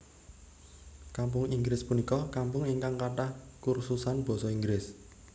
Kampung Inggris punika kampung ingkang kathah kursusan basa Inggris